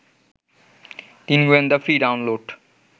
তিন গোয়েন্দা free download